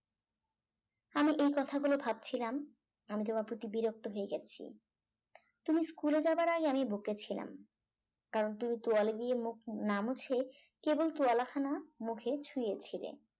আমি এই কথাগুলো ভাবছিলাম আমি তোমার প্রতি বিরক্ত হয়ে গেছি তুমি school এ যাওয়ার আগে আমি বকেছিলাম কারণ তুমি তোয়ালে দিয়ে মুখ না মুছে কেবল তুয়ালা খানা মুখে ছুঁয়েছিলে